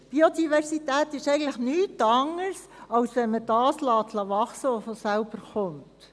Biodiversität ist eigentlich nichts anderes, als dass man wachsen lässt, was von alleine kommt.